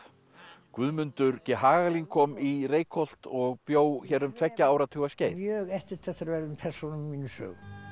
Guðmundur g Hagalín kom í Reykholt og bjó hér um tveggja áratuga skeið mjög eftirtektarverðum persónum í mínum sögum